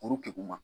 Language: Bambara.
Kuru kingu ma